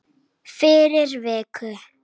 Fyrir viku.